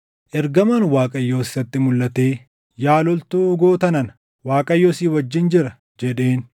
Ergamaan Waaqayyoos isatti mulʼatee, “Yaa loltuu goota nana, Waaqayyo si wajjin jira” jedheen.